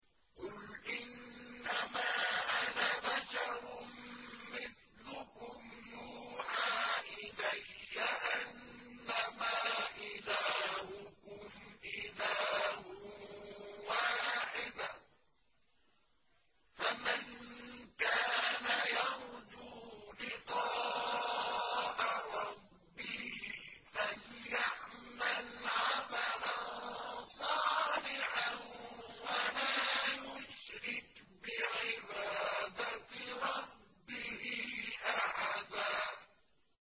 قُلْ إِنَّمَا أَنَا بَشَرٌ مِّثْلُكُمْ يُوحَىٰ إِلَيَّ أَنَّمَا إِلَٰهُكُمْ إِلَٰهٌ وَاحِدٌ ۖ فَمَن كَانَ يَرْجُو لِقَاءَ رَبِّهِ فَلْيَعْمَلْ عَمَلًا صَالِحًا وَلَا يُشْرِكْ بِعِبَادَةِ رَبِّهِ أَحَدًا